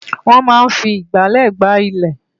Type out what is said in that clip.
Wọ́́n máa ń fi ìgbálẹ̀ gbá ilẹ̀